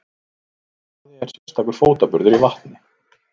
Marvaði er sérstakur fótaburður í vatni.